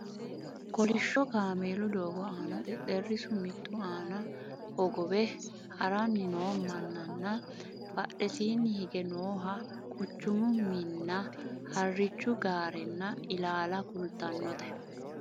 kolishsho kameelu doogo aana xexxerrisu mittu aana hogowame haranni noo mannanna badhesiinni hige nooha quchumu minnna harrichu gaarenna ilaala kultannote